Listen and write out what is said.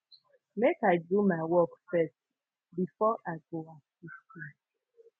make i do my work first before i go assist you